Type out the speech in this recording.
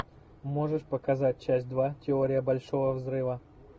можешь показать часть два теория большого взрыва